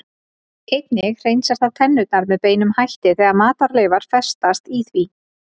Einnig hreinsar það tennurnar með beinum hætti þegar matarleifar festast í því.